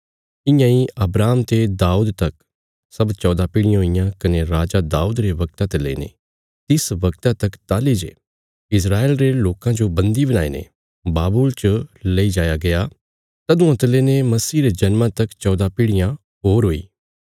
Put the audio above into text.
इआंई अब्राहम ते दाऊद तक सब चौदा पीढ़ियां हुईयां कने राजा दाऊद रे वगता ते लेईने तिस वगता तक ताहली जे इस्राएल रे लोकां जो बंदी बणाईने बाबुल च लेई जाया गया तदुआं ते लेईने मसीह रे जन्मा तक चौदा पीढ़ियां होर हुई